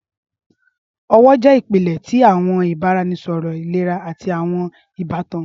Ọwọ jẹ ipilẹ ti awọn ibaraẹnisọrọ ilera ati awọn ibatan.